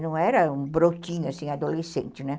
Não era um brotinho, assim, adolescente, né?